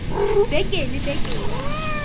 ya beke le beke ya